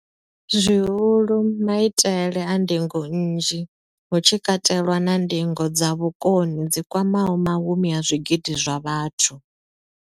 Zwihulu, maitele a ndingo nnzhi, hu tshi katelwa na ndingo dza vhukoni dzi kwamaho mahumi a zwigidi zwa vhathu.